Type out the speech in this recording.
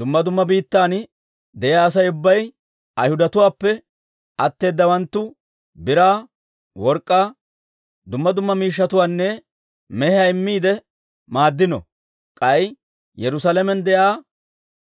Dumma dumma biittan de'iyaa Asay ubbay Ayhudatuwaappe atteedawanttu biraa, work'k'aa, dumma dumma miishshatuwaanne mehiyaa immiide maaddino; k'ay Yerusaalamen de'iyaa